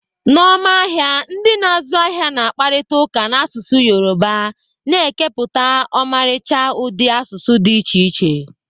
N'ọma ahịa, ndị na-azụ ahịa na-akparịta ụka n'asụsụ Yoruba, na-ekepụta ọmarịcha ụdị asụsụ dị iche iche.